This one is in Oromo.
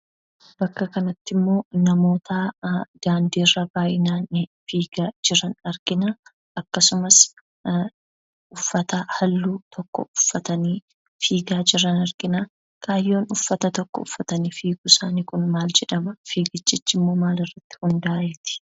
Bakka kanattimmoo namoota daandiirra baayyinan fiigaa jiran arginaa, akkasumas uffata haalluu tokko uffatanii fiigaa jiran arginaa, kaayyoon uffata tokko uffatanii fiiguusaanii kun maal jedhamaa fiigichichimmoo maalirratti hundaa'eeti?